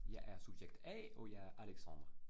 Jeg er subjekt A, og jeg er Alexandre